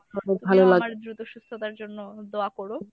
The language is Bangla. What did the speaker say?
তুমিও আমার দ্রুত সুস্থতার জন্য দোয়া করো